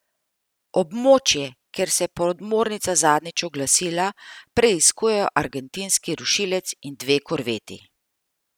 Območje, kjer se je podmornica zadnjič oglasila, preiskujejo argentinski rušilec in dve korveti.